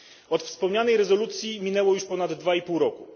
Od wspomnianej rezolucji minęło już ponad dwa i pół roku.